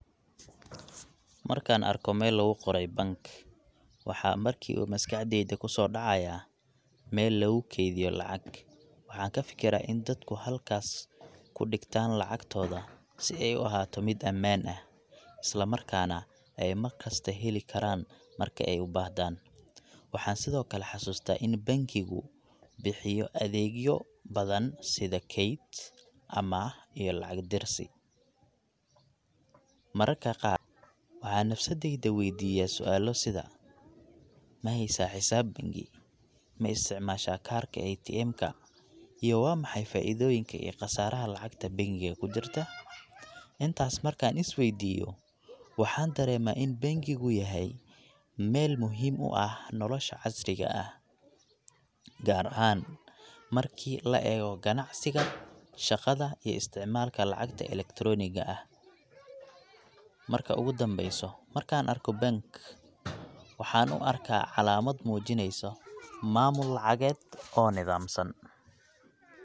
Markaan arko meel lagu qoray BANK, waxaa markiiba maskaxdayda ku soo dhacaya meel lagu kaydiyo lacag. Waxaan ka fikiraa in dadku halkaas ku dhigtaan lacagtooda si ay u ahaato mid ammaan ah, isla markaana ay markasta heli karaan marka ay u baahdaan. Waxaan sidoo kale xasuustaa in bankigu bixiyo adeegyo badan sida kayd, amaah, iyo lacag dirsi.. Mararka qaar, waxaan nafsaddayda weydiiyaa su’aalo sida: Ma haysaa xisaab bangi?, Ma isticmaashaa kaarka ATM ka?, iyo Waa maxay faa’iidooyinka iyo khasaaraha lacagta bangiga ku jirta? Intaas markaan is weydiiyo, waxaan dareemaa in bangigu yahay meel muhiim u ah nolosha casriga ah, gaar ahaan markii la eego ganacsiga, shaqada, iyo isticmaalka lacagta electronic ga ah. Marka ugu dambeyso, markaan arko BANK, waxaan u arkaa calaamad muujinayso maamul lacageed oo nidaamsan.